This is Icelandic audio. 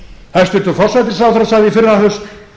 hæstvirtur forsætisráðherra sagði í fyrrahaust